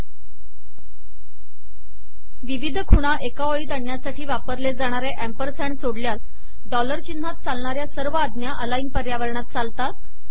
4 विविध खुणा एका ओळीत आणण्यासाठी वापरले जाणारे अँपरसँड सोडल्यास डॉलर चिन्हात चालणाऱ्या सर्व आज्ञा अलाइन पर्यावरणात चालतात